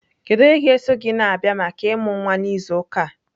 Kedu onye ga-eso gị na-abịa maka ịmụ nwa n'izu ụka a?